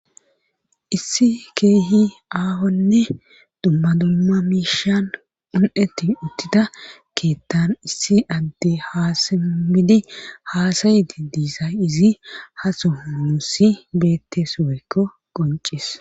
Issi keehi aahonne dumma dumma miishan un7etti uttida keettan issi adde haasimidi haasayidi diisa izi haso musi beettes woeykko qoncis